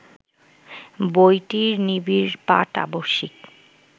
বইটির নিবিড় পাঠ আবশ্যিক